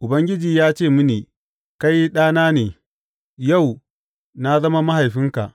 Ubangiji ya ce mini, Kai Ɗana ne; yau na zama Mahaifinka.